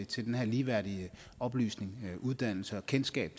til den her ligeværdige oplysning og uddannelse og kendskab